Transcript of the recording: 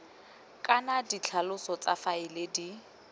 kana ditlhaloso tsa faele di